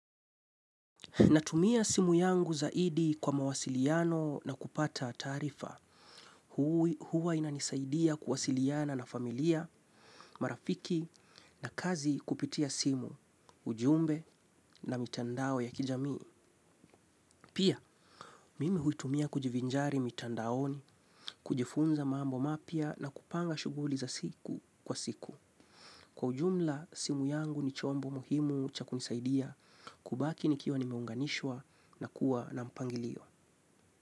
Natumia simu yangu zaidi kwa mawasiliano na kupata taarifa. Huwa inanisaidia kuwasiliana na familia, marafiki na kazi kupitia simu, ujumbe na mitandao ya kijami. Pia, mimi huitumia kujivinjari mitandaoni, kujifunza mambo mapya na kupanga shughuli za siku kwa siku. Kwa ujumla, simu yangu ni chombo muhimu cha kunisaidia kubaki nikiwa nimeunganishwa na kuwa na mpangilio.